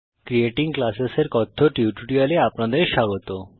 creating classes এর কথ্য টিউটোরিয়ালে আপনাদের স্বাগত